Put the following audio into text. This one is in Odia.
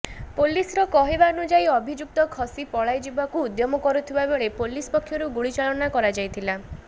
ପୋଲିସର କହିବାନୁଯାୟୀ ଅଭିଯୁକ୍ତ ଖସି ପଳାଯିବାକୁ ଉଦ୍ୟମ କରୁଥିବା ବେଳେ ପୋଲିସ୍ ପକ୍ଷରୁ ଗୁଳି ଚାଳନା କରାଯାଇଥିଲା